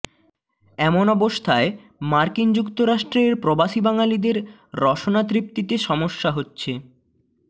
এমন অবস্থায় মার্কিন যুক্তরাষ্ট্রের প্রবাসী বাঙালিদের রসনা তৃপ্তিতে সমস্যা হচ্ছে